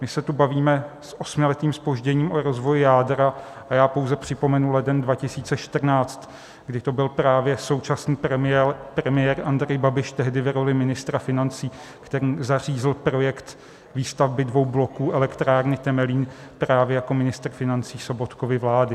My se tu bavíme s osmiletým zpožděním o rozvoji jádra a já pouze připomenu leden 2014, kdy to byl právě současný premiér Andrej Babiš, tehdy v roli ministra financí, ten zařízl projekt výstavby dvou bloků elektrárny Temelín právě jako ministr financí Sobotkovy vlády.